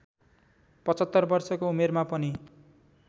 ७५ वर्षको उमेरमा पनि